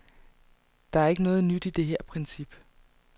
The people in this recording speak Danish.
Der er ikke noget nyt i det her princip.